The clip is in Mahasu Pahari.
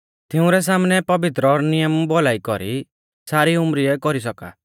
तिंउरै सामनै पवित्र और नियम भौलाई कौरी सारी उमरीऐ कौरी सौका